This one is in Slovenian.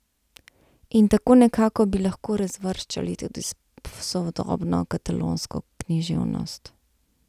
In tako nekako bi lahko razvrščali tudi sodobno katalonsko književnost.